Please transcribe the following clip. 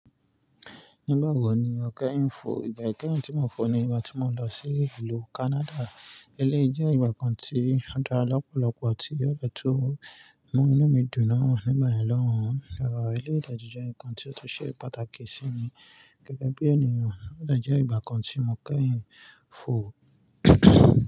Nígbà wo ni o kẹ́yìn fò? Ìgbà kẹ́yìn tí mo fò ni ìgbà tí mo lọ sí ìlú Canada. Ilé jẹ́ ibìkan tí a dá lọ́pọ̀lọpọ̀ àti ọ̀ de tó mú inú mi dùn náà níbẹ̀ lọ́hùn. Rárá, ilé ìdájọ́ jẹ́ nǹkan tí ó tó ṣe pàtàkì sí mi gẹ́gẹ́ bí ènìyàn. Ọ̀dà jẹ́ ìgbà kan tí mo kẹ́yìn fò.